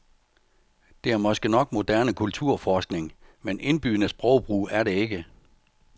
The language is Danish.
Det er måske nok moderne kulturforskning, men indbydende sprogbrug er det ikke.